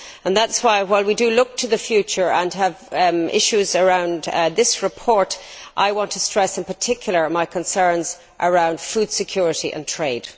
That is why, while we do look to the future and the issues around this report, I want to stress in particular my concerns around food security and trade.